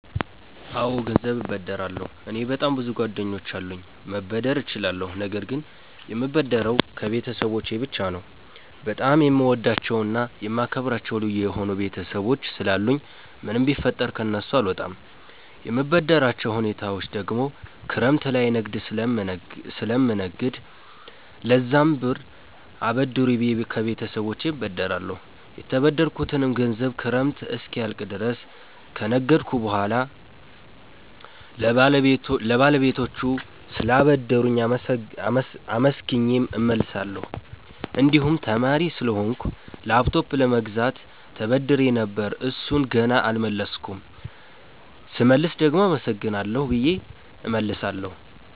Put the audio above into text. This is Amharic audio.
አወ ገንዘብ እበደራለሁ። እኔ በጣም ብዙ ጓደኞች አሉኝ መበደር እችላለሁ ነገር ግን የምበደረው ከቤተሰቦቸ ብቻ ነው። በጣም የምወዳቸውና የማከብራቸው ልዩ የሆኑ ቤተሰቦች ስላሉኝ ምንም ቢፈጠር ከነሱ አልወጣም። የምበደርባቸው ሁኔታወች ደግሞ ክረምት ላይ ንግድ ስለምነግድ ለዛም ብር አበድሩኝ ብየ ከቤተሰቦቸ እበደራለሁ። የተበደርኩትንም ገንዘብ ክረምት እስኪያልቅ ድረስ ከነገድኩ በሁዋላ ለባለቤቶቹ ስላበደሩኝ አመስግኘ እመልሳለሁ። እንድሁም ተማሪ ስለሆንኩ ላፕቶፕ ለመግዛት ተበድሬ ነበር እሡን ገና አልመለስኩም ስመልስ ደግሞ አመሰግናለሁ ብየ እመልሳለሁ።